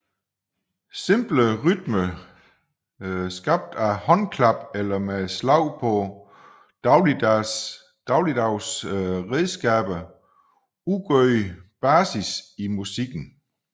Simple rytmer skabt af håndklap eller med slag på dagligdags redskaber udgjorde basis i musikken